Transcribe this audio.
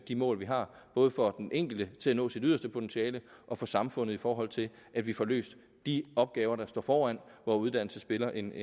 de mål vi har både for den enkelte i forhold til at nå sit yderste potentiale og for samfundet i forhold til at vi får løst de opgaver der står foran hvor uddannelse spiller en